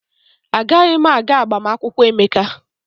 Agaghị m aga agbamakwụkwọ Emeka.